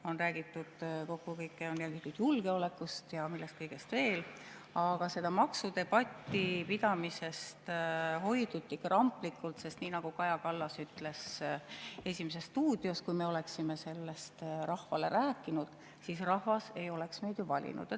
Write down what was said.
On räägitud kokku kõike, räägitud julgeolekust ja millest kõigest veel, aga selle maksudebati pidamisest hoiduti kramplikult, sest nii nagu Kaja Kallas ütles "Esimeses stuudios", et kui me oleksime sellest rahvale rääkinud, siis rahvas ei oleks meid ju valinud.